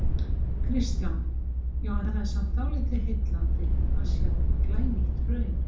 Kristján: Já, en það er samt dálítið heillandi að sjá glænýtt hraun?